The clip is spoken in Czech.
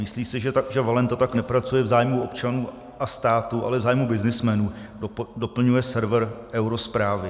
Myslí si, že Valenta tak nepracuje v zájmu občanů a státu, ale v zájmu byznysmenů, doplňuje server Eurozprávy.